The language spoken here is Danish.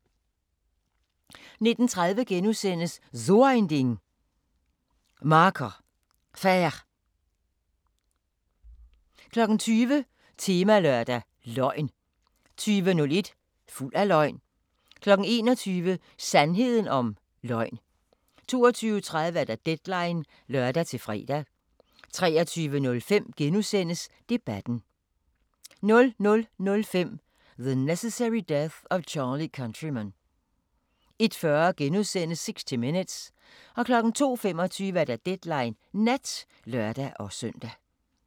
19:30: So ein Ding: Marker Faire * 20:00: Temalørdag: Løgn 20:01: Fuld af løgn 21:00: Sandheden om løgn 22:30: Deadline (lør-fre) 23:05: Debatten * 00:05: The Necessary Death of Charlie Countryman 01:40: 60 Minutes * 02:25: Deadline Nat (lør-søn)